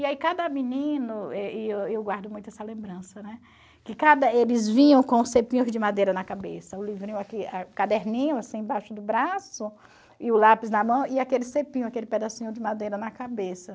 E aí cada menino, eh e eu eu guardo muito essa lembrança, né, que cada eles vinham com os cepinhos de madeira na cabeça, o livrinho ah caderninho embaixo do braço, e o lápis na mão, e aquele cepinho, aquele pedacinho de madeira na cabeça.